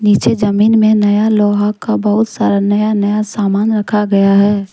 नीचे जमीन में नया लोहा का बहोत सारा नया नया सामान रखा गया है।